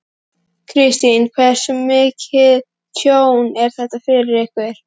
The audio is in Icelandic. Kristinn: Hversu mikið tjón er þetta fyrir ykkur?